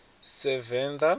sevenda